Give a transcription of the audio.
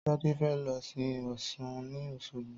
Tádé fe lo sin Ọ̀sun ni Òsogbo.